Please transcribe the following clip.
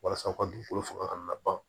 Walasa u ka dugukolo fanga ka na ban